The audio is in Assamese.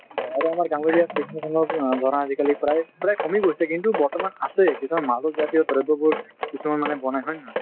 আৰু আমাৰ গাঁৱলীয়া ধৰা আজিকালি প্ৰায় প্ৰায় কমি গৈছে কিন্তু বৰ্তমান আছে কিছুমান মাদক জাতীয় দ্ৰব্য বোৰ কিছুমান মানুহে বনায় হয় নে নহয় ।